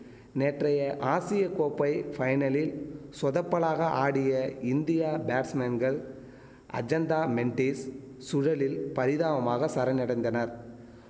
நேற்றைய ஆசிய கோப்பை ஃபைனலில் சொதப்பலாக ஆடிய இந்தியா பேட்ஸ்மேன்கள் அஜந்தா மெண்டிஸ் சுழலில் பரிதாபமாக சரணடைந்தனர்